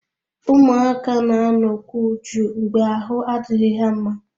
Ụmụaka na-anọkwu jụụ mgbe ahụ adịghị ha mma